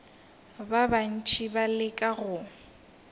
ba bantši ba leka go